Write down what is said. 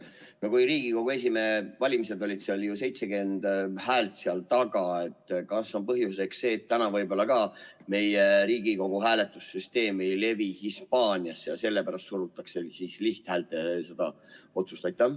Kui Riigikogu esimehe valimistel oli 70 häält taga, siis kas põhjuseks on see, et täna võib-olla meie Riigikogu hääletussüsteem ei levi Hispaaniasse ja sellepärast surutakse lihthäälteenamusega seda otsust läbi?